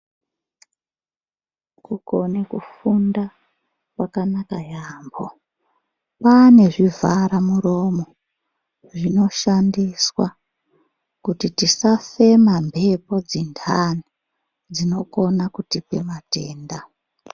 Kukone kufunda kwakanaka yaambo kwaane zvivhara muromo zvinoshandiswa kuti tisafema mbepo dzindani dzinokone kutipa matenda.